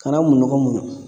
Kana minnɔgɔ muɲu